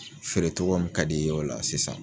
Feere cogo min ka di ye o la sisan